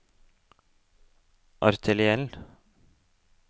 arteriell